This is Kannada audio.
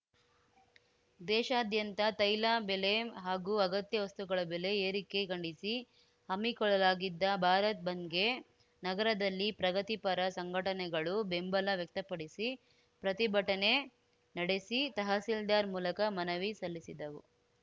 ದೇಶಾದ್ಯಂತ ತೈಲ ಬೆಲೆ ಹಾಗೂ ಅಗತ್ಯ ವಸ್ತುಗಳ ಬೆಲೆ ಏರಿಕೆ ಖಂಡಿಸಿ ಹಮ್ಮಿಕೊಳ್ಳಲಾಗಿದ್ದ ಭಾರತ್‌ ಬಂದ್‌ಗೆ ನಗರದಲ್ಲಿ ಪ್ರಗತಿಪರ ಸಂಘಟನೆಗಳು ಬೆಂಬಲ ವ್ಯಕ್ತಪಡಿಸಿ ಪ್ರತಿಭಟನೆ ನಡೆಸಿ ತಹಸೀಲ್ದಾರ್‌ ಮೂಲಕ ಮನವಿ ಸಲ್ಲಿಸಿದವು